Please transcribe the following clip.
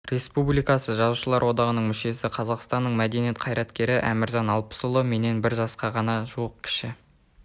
республикасы жазушылар одағының мүшесі қазақстанның мәдениет қайраткері әміржан алпысұлы менен бір жасқа ғана жуық кіші